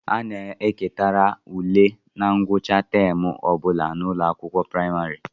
A na-elekarị ule na ngwụcha taam ọ bụla n'ụlọakwụkwọ praịmarị